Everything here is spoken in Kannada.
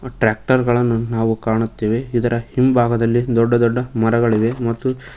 ಟ್ರ್ಯಾಕ್ಟರ್ ಗಳನ್ನು ನಾವು ಕಾಣುತ್ತೇವೆ ಅದರ ಹಿಂಭಾಗದಲ್ಲಿ ದೊಡ್ಡ ದೊಡ್ಡ ಮರಗಳಿವೆ ಮತ್ತು--